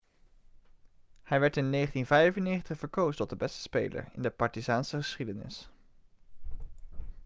hij werd in 1995 verkozen tot de beste speler in de partizaanse geschiedenis